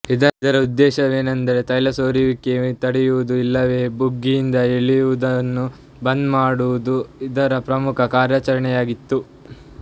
ಇದರ ಉದ್ದೇಶವೆಂದರೆ ತೈಲದಸೋರುವಿಕೆ ತಡೆಯುವುದು ಇಲ್ಲವೇ ಬುಗ್ಗೆಯಿಂದ ಏಳುವುದನ್ನು ಬಂದ್ ಮಾಡುವುದು ಇದರ ಪ್ರಮುಖ ಕಾರ್ಯಾಚರಣೆಯಾಗಿತ್ತು